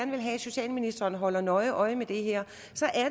vil have at socialministeren holder nøje øje med det her